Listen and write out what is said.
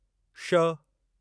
ष